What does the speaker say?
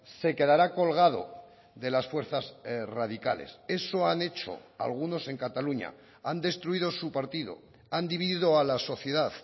se quedará colgado de las fuerzas radicales eso han hecho algunos en cataluña han destruido su partido han dividido a la sociedad